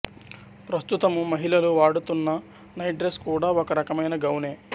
ప్రస్తుతము మహిళలు వాడుతున్న నైట్ డ్రెస్ కూడా ఒక రకమైన గౌనే